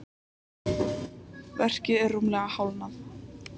Verkið er rúmlega hálfnað.